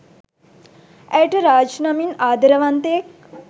ඇයට රාජ් නමින් ආදරවන්තයෙක්